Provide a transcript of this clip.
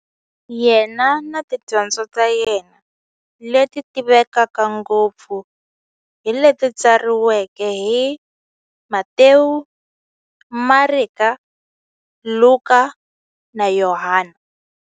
Yena na tidyondzo ta yena, leti tivekaka ngopfu hi leti tsariweke hi-Matewu, Mareka, Luka, na Yohani.